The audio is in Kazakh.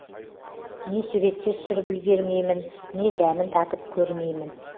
не суретке түсіріп үлгермеймін не дәмін татып көрмеймін